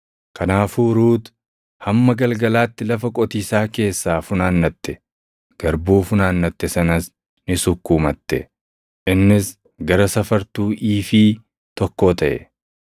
Kanaafuu Ruut hamma galgalaatti lafa qotiisaa keessaa funaannatte. Garbuu funaannatte sanas ni sukkuumatte; innis gara safartuu iifii + 2:17 Iifiin tokko kiiloo giraamii 40. tokkoo taʼe.